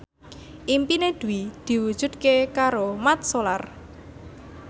impine Dwi diwujudke karo Mat Solar